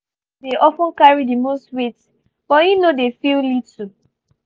her decision dey of ten carry the most weight but he no dey feel little